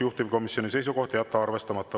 Juhtivkomisjoni seisukoht on jätta arvestamata.